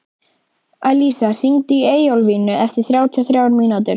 Alisa, hringdu í Eyjólflínu eftir þrjátíu og þrjár mínútur.